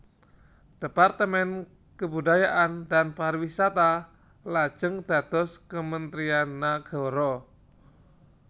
Departemen Kebudayaan dan Pariwisata lajeng dados Kementerian Nagara